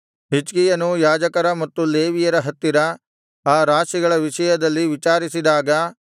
ಹಿಜ್ಕೀಯನೂ ಯಾಜಕರ ಮತ್ತು ಲೇವಿಯರ ಹತ್ತಿರ ಆ ರಾಶಿಗಳ ವಿಷಯದಲ್ಲಿ ವಿಚಾರಿಸಿದಾಗ